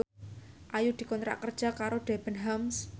Ayu dikontrak kerja karo Debenhams